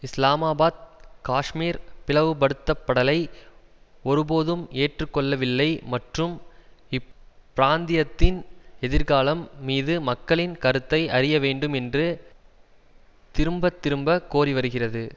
இஸ்லாமாபாத் காஷ்மீர் பிளவுபடுத்தப்படலை ஒருபோதும் ஏற்று கொள்ளவில்லை மற்றும் இப்பிராந்தியத்தின் எதிர்காலம் மீது மக்களின் கருத்தை அறிய வேண்டும் என்று திரும்பத்திரும்ப கோரி வருகிறது